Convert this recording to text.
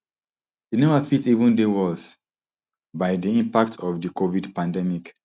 di number fit even dey worse by di impact of di covid pandemic